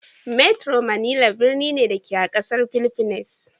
Metro Manila birni ne, da ke a ƙasar fhiliffines.